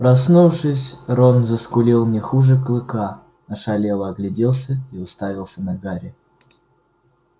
проснувшись рон заскулил не хуже клыка ошалело огляделся и уставился на гарри